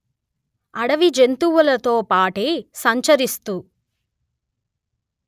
అడవిజంతువులతో బాటే సంచరిస్తూ